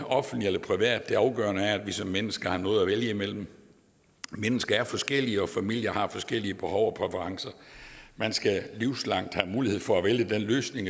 offentligt og privat det afgørende er at vi som mennesker har noget at vælge imellem mennesker er forskellige og familier har forskellige behov og præferencer man skal livslangt have mulighed for at vælge den løsning